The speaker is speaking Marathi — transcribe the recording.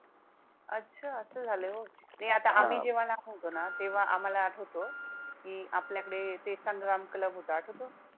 अच्छा! असं झाल होय? नाही आता आम्ही जेव्हा लहान होतो ना तेव्हा अम्हाला आठवतो की आपल्याकडे ते संग्राम club होता आठवतो?